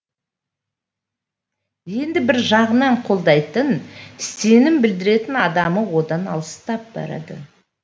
енді бір жағынан қолдайтын сенім білдіретін адамы одан алыстап барады